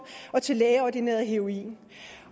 og til lægeordineret heroin